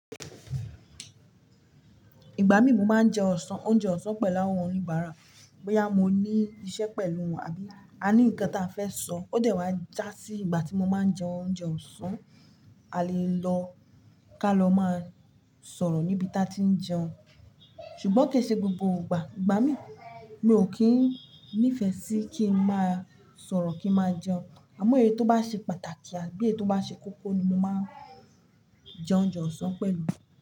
Ìgbà mí mo máa ń jẹun ọ̀sán, oúnjẹ ọ̀sán pẹ̀lú àwọn oníbàárà, bóyá mo ní iṣẹ́ pẹ̀lú wọn àbí a ní nǹkan tí a fẹ́ sọ, ó jẹ́ wá já sí ìgbà tí mo máa ń jẹ oúnjẹ ọ̀sán, a lè lọ ká lọ máa sọ̀rọ̀ níbi tí a ti ń jẹun. Ṣùgbọ́n kì í ṣe gbogbo ìgbà, ìgbà mí mi ò kín nífẹ̀ẹ́ sí kí n má sọ̀rọ̀ kí n má jẹun, àmọ́ èyí tó bá ṣe pàtàkì àbí èyí tó bá ṣe kókó ni mo máa ń jẹ oúnjẹ ọ̀sán pẹ̀lú.